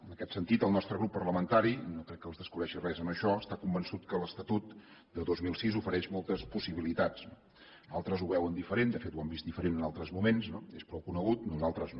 en aquest sentit el nostre grup parlamentari i no crec que els descobreixi res en això està convençut que l’estatut de dos mil sis ofereix moltes possibilitats d’altres ho veuen diferent de fet ho han vist diferent en altres moments no és prou conegut nosaltres no